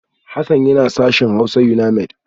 Hassan yana sashen Hausa Unimaid